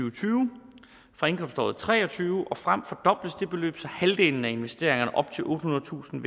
og tyve fra indkomståret og tre og tyve og frem fordobles det beløb så halvdelen af investeringerne op til ottehundredetusind